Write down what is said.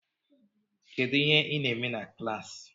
Kedu ihe ị na-eme na klaasi?